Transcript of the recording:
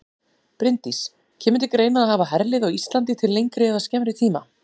Bryndís: Kemur til greina að hafa herlið á Íslandi í lengri eða skemmri tíma?